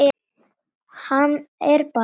Hann er bara þannig maður.